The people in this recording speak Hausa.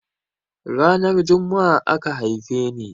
Ranar Jumma'a aka haife ni.